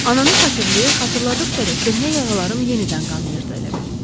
Ananı xatırlayır-xatırladıqca da köhnə yaralarım yenidən qanayırdı, elə bil.